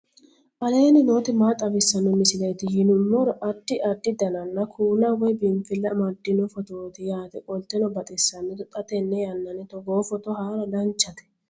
aleenni nooti maa xawisanno misileeti yinummoro addi addi dananna kuula woy biinfille amaddino footooti yaate qoltenno baxissannote xa tenne yannanni togoo footo haara danchate